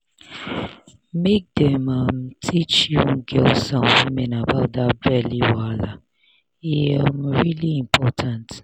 make dem um dey teach young girls and women about that belly um wahala e um really important